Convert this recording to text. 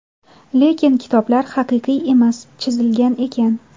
Lekin kitoblar haqiqiy emas, chizilgan ekan!.